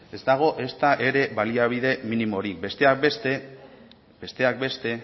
ez dago ezta ere baliabide minimorik besteak beste